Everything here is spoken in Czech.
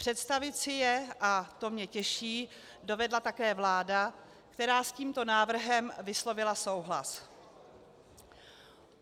Představit si je, a to mě těší, dovedla také vláda, která s tímto návrhem vyslovila souhlas.